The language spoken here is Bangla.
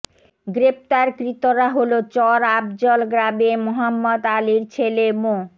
গ্রেফতারকৃতরা হলো চর আফজল গ্রামের মোহাম্মদ আলীর ছেলে মো